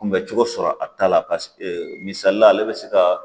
Kunbɛcogo sɔrɔ a ta la paseke misalila ale bɛ se ka